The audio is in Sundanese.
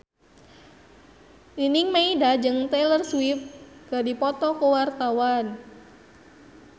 Nining Meida jeung Taylor Swift keur dipoto ku wartawan